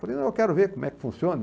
Falei, eu quero ver como é que funciona.